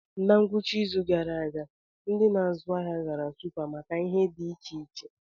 Na ngwụcha izu gara aga, ndị na-azụ ahịa gara Supa maka ihe dị iche iche.